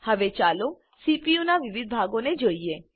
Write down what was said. હવે ચાલો સીપીયુનાં વિવિધ ભાગોને જોઈએ